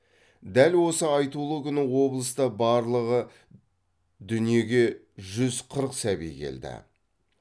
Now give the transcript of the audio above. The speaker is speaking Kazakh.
дәл осы айтулы күні облыста барлығы дүниеге жүз қырық сәби келді